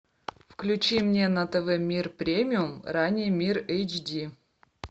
включи мне на тв мир премиум ранее мир эйч ди